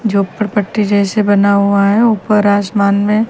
झोंपड़पट्टी जैसे बना हुआ है ऊपर आसमान मे।